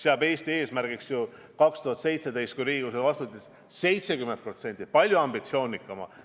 Aastal 2017, kui Riigikogu selle vastu võttis, seadis Eesti eesmärgiks 70% – palju ambitsioonikama eesmärgi.